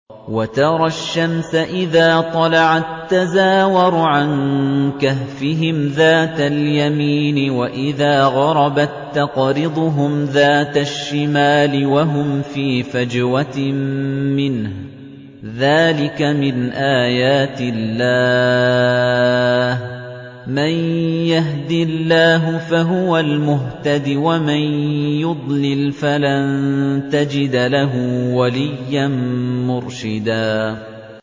۞ وَتَرَى الشَّمْسَ إِذَا طَلَعَت تَّزَاوَرُ عَن كَهْفِهِمْ ذَاتَ الْيَمِينِ وَإِذَا غَرَبَت تَّقْرِضُهُمْ ذَاتَ الشِّمَالِ وَهُمْ فِي فَجْوَةٍ مِّنْهُ ۚ ذَٰلِكَ مِنْ آيَاتِ اللَّهِ ۗ مَن يَهْدِ اللَّهُ فَهُوَ الْمُهْتَدِ ۖ وَمَن يُضْلِلْ فَلَن تَجِدَ لَهُ وَلِيًّا مُّرْشِدًا